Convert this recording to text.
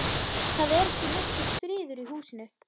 Það er ekki nokkur friður í húsinu.